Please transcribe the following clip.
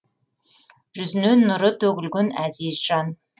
жүзінен нұры төгілген әзиз жан